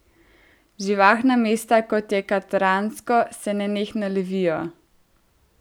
Živahna mesta, kot je Katransko, se nenehno levijo.